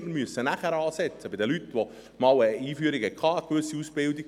Wir müssen nachher ansetzen – bei den Leuten, die eine Einführung hatten, eine gewisse Ausbildung.